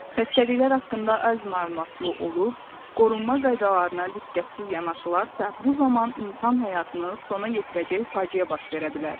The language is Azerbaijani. Xəstəliklər haqqında az məlumatlı olub, qorunma qaydalarına diqqətsiz yanaşılarsa, bu zaman insan həyatını sona yetirəcək faciə baş verə bilər.